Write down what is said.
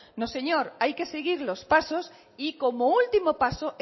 no señor hay que seguir los pasos y como último paso